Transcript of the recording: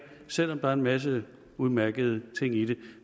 selv om der er en masse udmærkede ting i det